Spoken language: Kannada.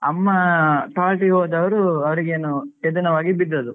ಅಮ್ಮ toilet ಗೆ ಹೋದವರು ಅವರಿಗೇನೋ ಎದೆ ನೋವಾಗಿ ಬಿದ್ದದ್ದು.